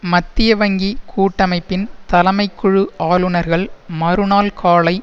மத்திய வங்கி கூட்டமைப்பின் தலைமைக்குழு ஆளுனர்கள் மறுநாள் காலை